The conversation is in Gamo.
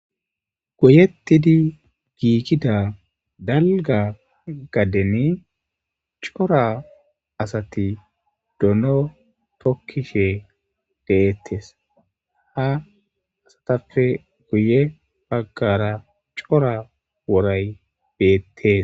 Guyettidi giikida dalga gadden cora asati dono tokkishe deettes ha asatafe guye baggara cora woray beettes.